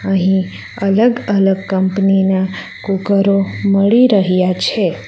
અહીં અલગ-અલગ કંપની ના કુકરો મળી રહ્યા છે.